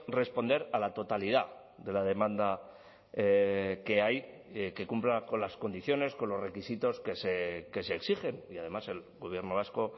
responder a la totalidad de la demanda que hay que cumpla con las condiciones con los requisitos que se exigen y además el gobierno vasco